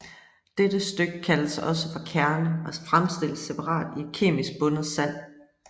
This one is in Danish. Dette stykke kaldes også for kerne og fremstilles separat i et kemisk bundet sand